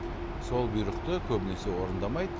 сол бұйрықты көбінесе орындамайды